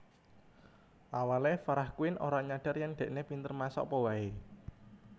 Awale Farah Quinn ora nyadar yen dekne pinter masak apa wae